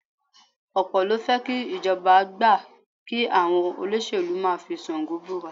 Ọ̀pọ̀ ló fẹ́ kí ìjọba gbà kí àwọn olóṣèlú máa fi Ṣàngó búra